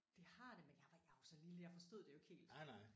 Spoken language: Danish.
Det har det men jeg var jeg var så lille jeg forstod det jo ikke helt